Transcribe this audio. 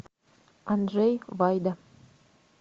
анджей вайда